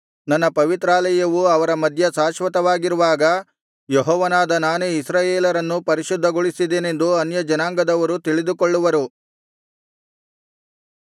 ನನ್ನ ಪವಿತ್ರಾಲಯವು ಅವರ ಮಧ್ಯೆ ಶಾಶ್ವತವಾಗಿರುವಾಗ ಯೆಹೋವನಾದ ನಾನೇ ಇಸ್ರಾಯೇಲರನ್ನು ಪರಿಶುದ್ಧಗೊಳಿಸಿದೆನೆಂದು ಅನ್ಯಜನಾಂಗದವರು ತಿಳಿದುಕೊಳ್ಳುವರು